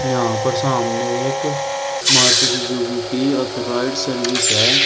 यहां पर सामने एक मारुति सुजुकी की ऑथराइज्ड सर्विस है।